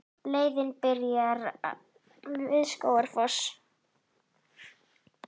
Leiðin byrjar við Skógafoss.